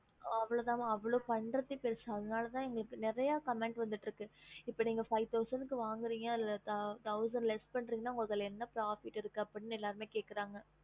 அவ்ளோதா ம அவ்ளோ பண்றதே பெருசு ம அதனாலதாம இப்போ நேரிய commenss வந்துட்டு இருக்கு இப்போ நீங்க finv thousand வாங்கி அதல thousand less உங்களுக்கு என்ன கிடைக்கும்